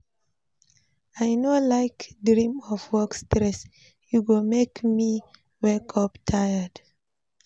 I no like dream of work stress, e go make me wake up tired.